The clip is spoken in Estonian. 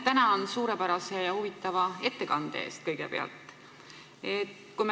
Kõigepealt tänan suurepärase ja huvitava ettekande eest!